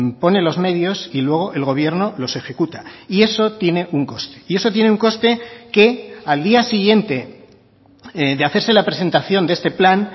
pone los medios y luego el gobierno los ejecuta y eso tiene un coste y eso tiene un coste que al día siguiente de hacerse la presentación de este plan